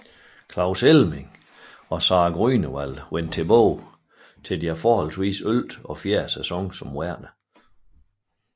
Claus Elming og Sarah Grünewald vendte tilbage til deres henholdsvis ellevte og fjerde sæson som værter